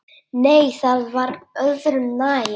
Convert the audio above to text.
Nei, það var öðru nær!